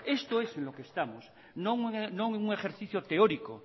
esto es lo que estamos no un ejercicio teórico